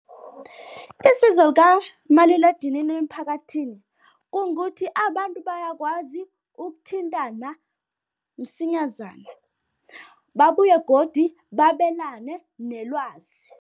Isizo likamaliledinini emphakathini kungukuthi abantu bayakwazi ukuthintana msinyazana, babuye godi babelane nelwazi.